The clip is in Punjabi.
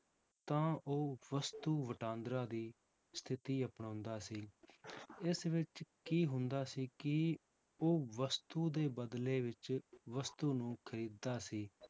ਤਾਂ ਉਹ ਵਸਤੂ ਵਟਾਂਦਰਾ ਦੀ ਸਥਿਤੀ ਅਪਣਾਉਂਦਾ ਸੀ ਇਸ ਵਿੱਚ ਕੀ ਹੁੰਦਾ ਸੀ ਕਿ ਉਹ ਵਸਤੂ ਦੇ ਬਦਲੇ ਵਿੱਚ ਵਸਤੂ ਨੂੰ ਖ਼ਰੀਦਦਾ ਸੀ